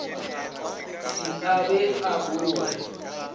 se a be a boa